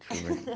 Deixa eu ver...